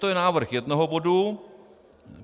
To je návrh jednoho bodu.